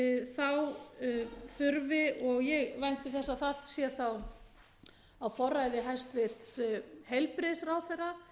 og ég vænti þess að það sé þá á forræði hæstvirtur heilbrigðisráðherra